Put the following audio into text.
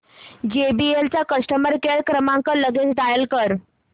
JBL चा customer care क्रमांक लगेच डायल कर